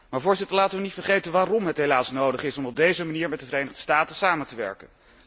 Maar laten we niet vergeten waarom het helaas nodig is om op deze manier met de Verenigde Staten samen te werken.